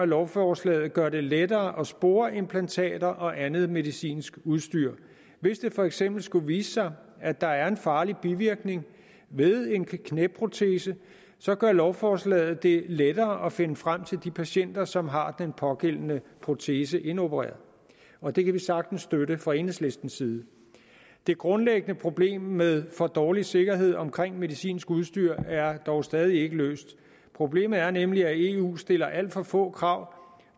lovforslag der gør det lettere at spore implantater og andet medicinsk udstyr hvis det for eksempel skulle vise sig at der er en farlig bivirkning ved en knæprotese så gør lovforslaget det lettere at finde frem til de patienter som har den pågældende protese indopereret og det kan vi sagtens støtte fra enhedslistens side det grundlæggende problem med for dårlig sikkerhed omkring medicinsk udstyr er dog stadig ikke løst problemet er nemlig at eu stiller alt for få krav